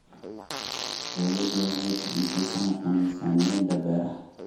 Dawladdu waxay kordhisay sanadkan miisaaniyada beeraha.